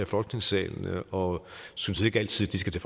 folketingssalen og synes ikke altid de skal til